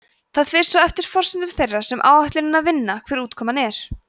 það fer svo eftir forsendum þeirra sem áætlunina vinna hver útkoman er